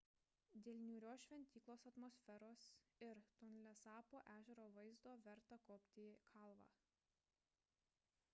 dėl niūrios šventyklos atmosferos ir tonlesapo ežero vaizdo verta kopti į kalvą